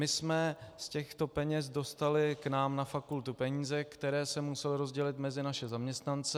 My jsme z těchto peněz dostali k nám na fakultu peníze, které se musely rozdělit mezi naše zaměstnance.